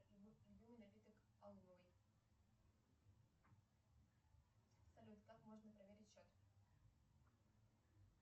салют как можно проверить счет